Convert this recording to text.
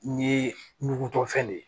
Ni ɲugutɔ fɛn de ye